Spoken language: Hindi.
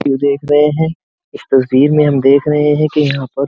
देख रहे हैं। इस तस्वीर में हम देख रहे है की यहाँ पर --